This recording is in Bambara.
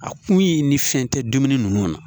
A kun ye ni fɛn tɛ dumuni ninnu na